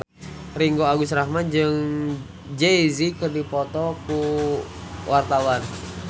Ringgo Agus Rahman jeung Jay Z keur dipoto ku wartawan